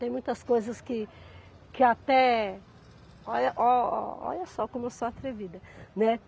Tem muitas coisas que que até Olha, ó, olha só como eu sou atrevida, né.